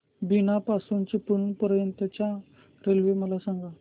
बीना पासून चिपळूण पर्यंत च्या रेल्वे मला सांगा